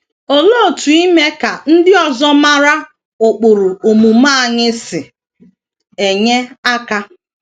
Olee otú ime ka ndị ọzọ mara ụkpụrụ omume anyị si enye aka?